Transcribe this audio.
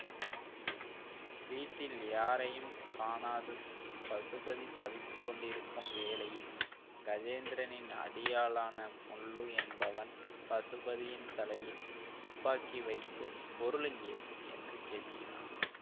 வீட்டில் யாரையும் காணாது பசுபதி தவித்துக்கொண்டு இருக்கும் வேளையில் கஜேந்திரனின் அடியாளான முள்ளு என்பவன் பசுபதியின் தலையில் துப்பாக்கி வைத்து பொருள் எங்கே என்று கேட்கிறான்